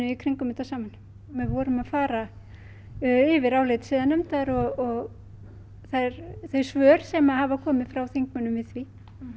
í kringum þetta saman við vorum að fara yfir álit siðanefndar og þau svör sem hafa komið frá þingmönnunum við því